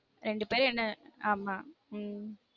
ரெண்டு பேரும் என்ன ஆமா உம்